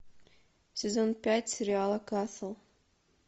сезон пять сериала касл